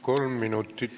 Kolm minutit lisaaega.